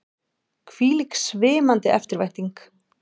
Hvílík svimandi eftirvænting!